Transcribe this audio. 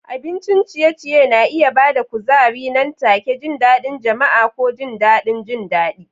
Abincin ciye-ciye na iya ba da kuzari nan take, jin daɗin jama'a, ko jin daɗin jin daɗi.